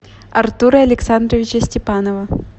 артура александровича степанова